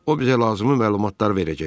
O bizə lazımi məlumatlar verəcək.